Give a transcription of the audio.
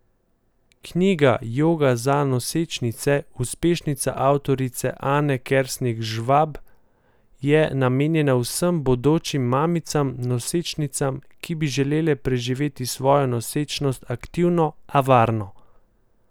Knjiga Joga za nosečnice, uspešnica avtorice Ane Kersnik Žvab, je namenjena vsem bodočim mamicam, nosečnicam, ki bi želele preživeti svojo nosečnost aktivno, a varno.